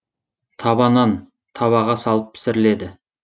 таба нан табаға салып пісіріледі